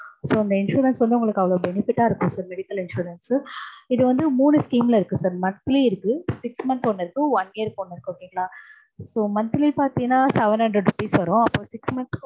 so இந்த insurance வந்து உங்களுக்கு அவ்வளவு benefit ஆ இருக்கும் sir medical insurance இது வந்து மூனு scheme ல இருக்கு sir monthly இருக்கு six months ஒன்னு இருக்கு, one year க்கு ஒன்னு இருக்கு. okay ங்களா?